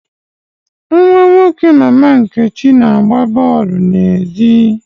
Nwa nwoke Mama Nkechi na-agba bọọlụ n'èzí.